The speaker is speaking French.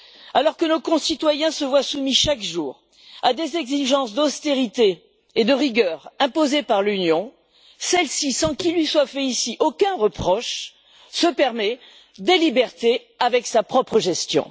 Alors que nos concitoyens sont soumis chaque jour à des exigences d'austérité et de rigueur imposées par l'Union, celle ci, sans qu'il ne lui soit fait ici aucun reproche, se permet des libertés avec sa propre gestion.